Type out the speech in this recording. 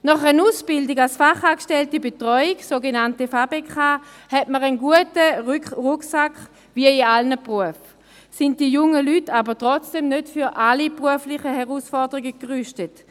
Nach einer Ausbildung als Fachangestellte Betreuung, sogenannte FaBeK, hat man einen guten Rucksack, wie in allen Berufen, aber trotzdem sind die jungen Leute nicht für alle beruflichen Herausforderungen gerüstet.